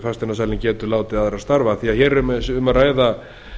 fasteignasalinn getur látið aðra starfa því hér er um að ræða